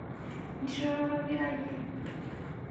Ntito narok ira iyie